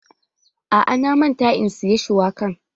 A'a, na manta in siya shuwakan